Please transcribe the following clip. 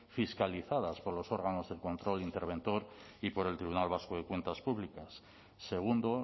fiscalizadas por los órganos de control interventor y por el tribunal vasco de cuentas públicas segundo